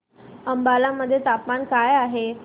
अंबाला मध्ये तापमान काय आहे